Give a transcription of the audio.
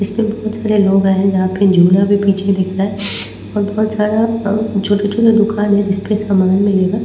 इसपे बहुत सारे लोग आए हैं जहाँ पे झूला भी पीछे दिख रहा है और बहुत सारा अ छोटा-छोटा दुकान है जिसपे सामान मिलेगा।